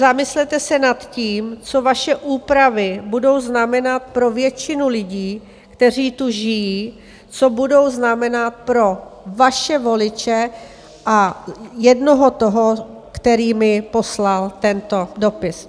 Zamyslete se nad tím, co vaše úpravy budou znamenat pro většinu lidí, kteří tu žijí, co budou znamenat pro vaše voliče a jednoho toho, který mi poslal tento dopis.